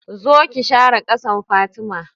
Zo ki share ƙasan, Fatima